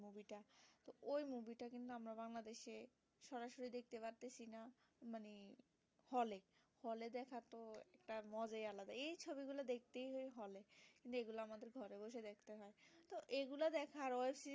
hall এ একটা মজাই আলাদা এই ছবিগুলো দেখছি ভালো যেগুলো আমাদের ঘরে বসে দেখতে হয় এগুলো দেখার ওই যে